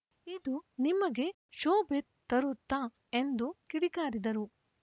ಇದು ನಿಮಗೆ ಶೋಭೆ ತರುತ್ತಾ ಎಂದು ಕಿಡಿಕಾರಿದರು